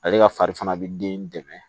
Ale ka fari fana bɛ den dɛmɛ